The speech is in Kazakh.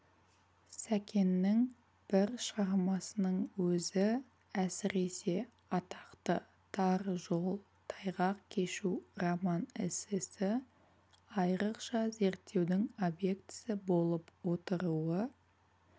сәкеннің бір шығармасының өзі әсіресе атақты тар жол тайғақ кешу роман-эссесі айрықша зерттеудің объектісі болып отыруы